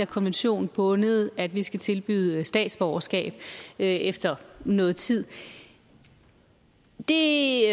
konventionsbundet at vi skal tilbyde statsborgerskab efter noget tid det